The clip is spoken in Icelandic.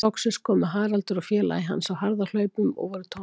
Loksins komu Haraldur og félagi hans á harðahlaupum og voru tómhentir.